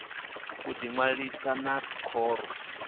u ḓi ṅwalisa na khoro